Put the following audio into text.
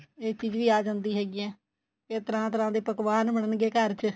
ਇਹ ਚੀਜ਼ ਵੀ ਆ ਜਾਂਦੀ ਹੈਗੀ ਏ ਤਰ੍ਹਾਂ ਤਰ੍ਹਾਂ ਦੇ ਪਕਵਾਨ ਬੰਨਣਗੇ ਘਰ ਚ